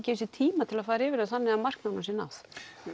gefi sér tíma til að fara yfir það þannig að markmiðunum sé náð